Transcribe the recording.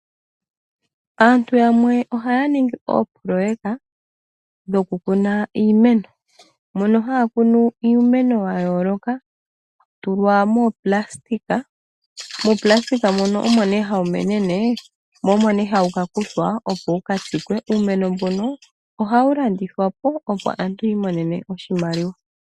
Aantu yamwe ohaya ningi oopololeka dhoku kuna iimeno mono haya kunu iimeno ya yooloka. Hawu tulwa moonayilona, moonayilona moka omo nee hayi menene mo omo nee hawu kakuthwa opo wukatsikwe. Uumeno mbuno ohawu landithwapo opo aantu yi imonene oshimaliwa.